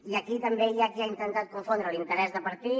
i aquí també hi ha qui ha intentat confondre l’interès de partit